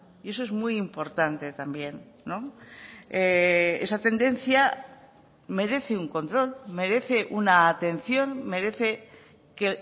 y eso es muy importante también no esa tendencia merece un control merece una atención merece que